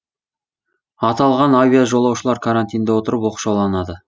аталған авиажолаушылар карантинде отырып оқшауланады